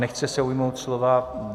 Nechce se ujmout slova.